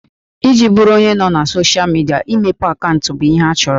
Iji bụrụ onye nọ na soshịa midia, imepe akaụntụ bụ ihe a chọrọ